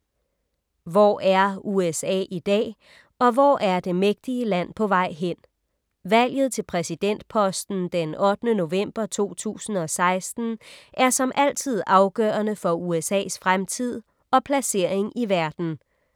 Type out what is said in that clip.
Hvor er USA i dag, og hvor er det mægtige land på vej hen? Valget til præsidentposten den 8. november 2016, er som altid afgørende for USA´s fremtid og placering i verden.